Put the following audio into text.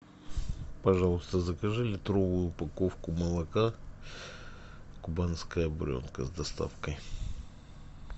пожалуйста закажи литровую упаковку молока кубанская буренка с доставкой